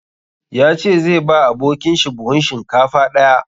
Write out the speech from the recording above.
Ya ce zai ba abokin shi buhun shinkafa ɗaya.